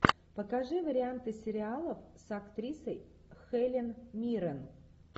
покажи варианты сериалов с актрисой хелен миррен